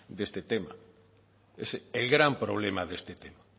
de este tema es el gran problema de este tema